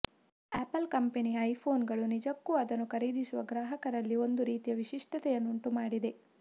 apple ಕಂಪೆನಿಯ ಐಫೋನ್ಗಳು ನಿಜಕ್ಕೂ ಅದನ್ನು ಖರೀದಿಸುವ ಗ್ರಾಹಕರಲ್ಲಿ ಒಂದು ರೀತಿಯ ವಿಶಿಷ್ಟತೆಯನ್ನೇ ಉಂಟುಮಾಡಿದೆ